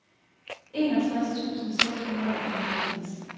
enogtres tusind seks hundrede og fireoghalvtreds